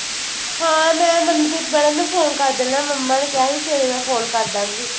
ਹਾਂ ਮੈ ਮਨਕ੍ਰਿਤ mam ਨੂੰ phone ਕਰ ਦੇਣਾ ਆ mamma ਨੇ ਕਿਹਾ ਸੀ ਸਵੇਰੇ ਮੈ phone ਕਰ ਦਾਂਗੀ